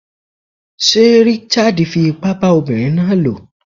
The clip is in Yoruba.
Sé Richard fi ipá bá ọmọbinrin náà lò?